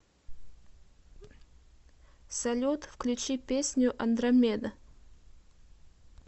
салют включи песню андромеда